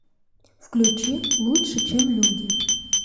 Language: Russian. включи лучше чем люди